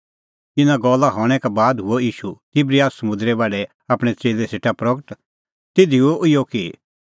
इना गल्ला हणैं का बाद हुअ ईशू तिबरियस समुंदरे बाढै आपणैं च़ेल्लै सेटा प्रगट तिधी हुअ इहअ कि